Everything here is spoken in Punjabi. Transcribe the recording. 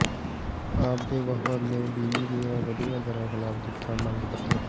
ਆਪ ਦੇ ਵਫਦ ਨੇ ਬਿਜਲੀ ਦੀਆਂ ਵਧੀਆਂ ਦਰਾਂ ਖਿਲਾਫ ਦਿੱਤਾ ਮੰਗ ਪੱਤਰ